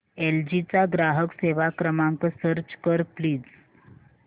L G चा ग्राहक सेवा क्रमांक सर्च कर प्लीज